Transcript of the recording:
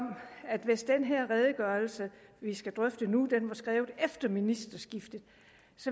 at hvis den her redegørelse vi skal debattere nu var skrevet efter ministerskiftet